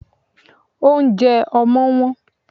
Óunjẹ ọmọ́ wón